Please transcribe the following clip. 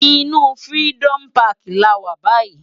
Inú Firidòmú Pàkí làwá bàyí